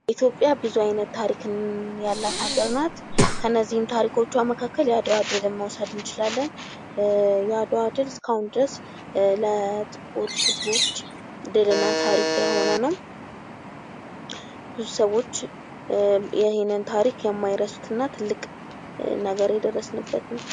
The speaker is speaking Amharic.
ኢትዮጵያ ብዙ አይነት ታሪክ ያላት ሀገር ናት ከነዚህም ታሪኮችዋ መካከል የአድዋ ድል መውሰድ እንችላለን ፤ የአድዋ ድል እስካሁን ድረስ ለጥቁር ህዝቦች ድልና ታሪክ የሆነ ነው። ብዙ ሰዎች ይህንን ታሪክ የማይረሱት እና ትልቅ ነገር የደረስንበት ነው።